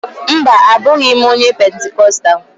Mba, abụghị m onye Pentikostal